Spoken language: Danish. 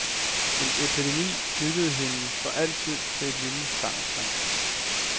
En epidemi knyttede hende for altid til et lille fangersamfund.